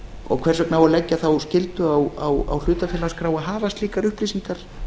og hvers vegna á að leggja þá skyldu á hlutafélagaskrá að hafa slíkar upplýsingar